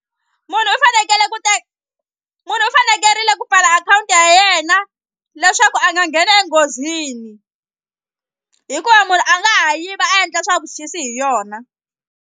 Munhu u fanekele ku munhu u fanekerile ku pfala akhawunti ya yena leswaku a nga ngheni enghozini hikuva munhu a nga ha yiva a endla swa vuxisi hi yona.